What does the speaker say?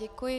Děkuji.